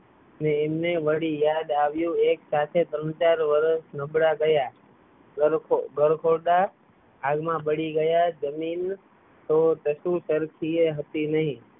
એમને વરી યાદ આવ્યું એ પાછા ત્રણ ચાર વારસો નબળા ગયાં બડી ગયાં જમીન તો કશુંય કરતી હતી નહી